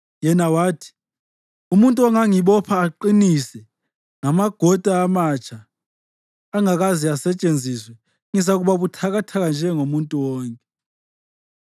Yena wathi, “Umuntu angangibopha aqinise ngamagoda amatsha angakaze asetshenziswe, ngizakuba buthakathaka njengomuntu wonke.”